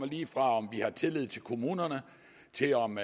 lige fra om vi har tillid til kommunerne til om